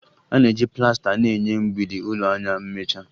A na-eji plasta na-enye mgbidi ụlọ anya mmecha